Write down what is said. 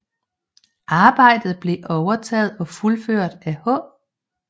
Arbejdet blev overtaget og fuldført af H